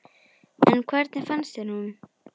En hvernig fannst þér hún?